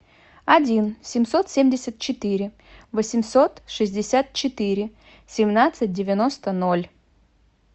один семьсот семьдесят четыре восемьсот шестьдесят четыре семнадцать девяносто ноль